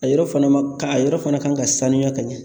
A yɔrɔ fana ma ka a yɔrɔ fana ka kan ka sanuya ka ɲɛ